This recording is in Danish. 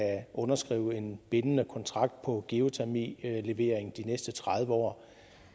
underskrive en bindende kontrakt på geotermilevering de næste tredive år